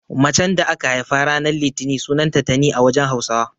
Macen da aka haifa ranan litini sunanta Tani a wajen Hausawa.